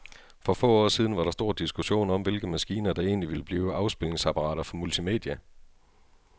For få år siden var der stor diskussion om, hvilke maskiner, der egentlig ville blive afspilningsapparater for multimedia.